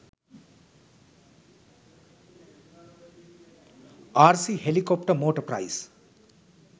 rc helicopter motor price